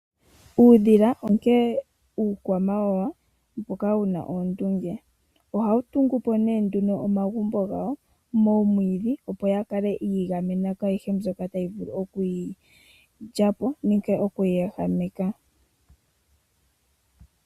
Uudhila onkee uukwamawawa mboka wu na oondunge. Ohawu tungu po nee omagumbo gawo moomwiidhi, opo wu kale wi igamena kwaayihe mbyoka tayi vulu oku yi lya po nenge oku yi ehameka.